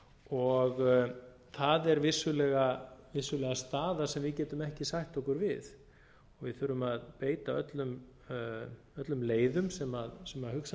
og það er vissulega staða sem við getum ekki sætt okkur við við þurfum að beita öllum leiðum sem hugsanlegar eru